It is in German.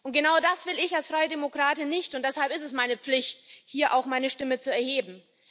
Und genau das will ich als Freidemokratin nicht, und deshalb ist es meine Pflicht, hier auch meine Stimme zu erheben.